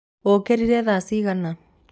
ũkĩrire thaa cigana?